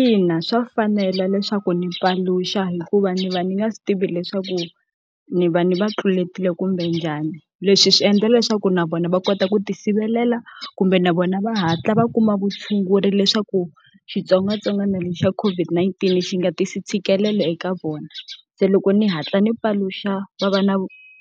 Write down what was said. Ina, swa fanela leswaku ni paluxa hikuva ni va ni nga swi tivi leswaku ni va ni va tluletile kumbe njhani. Leswi swi endla leswaku na vona va kota ku tisirhelela kumbe na vona va hatla va kuma vutshunguri leswaku xitsongwatsongwana lexi xa COVID-19 xi nga tisi ntshikelelo eka vona. Se loko ni hatla ni paluxa va va na